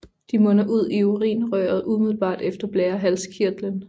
De munder ud i urinrøret umiddelbart efter blærehalskirtlen